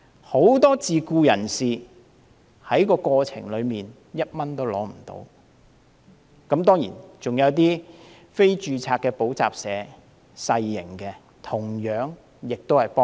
很多自僱人士在過程中連1元資助也沒有，還有一些非註冊的小型補習社同樣未能受惠。